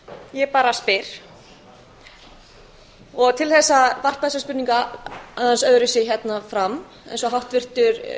ég bara spyr og til þess að varpa þessari spurningu aðeins öðruvísi hérna fram eins og háttvirtur